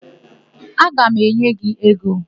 Aga m enye gị ego.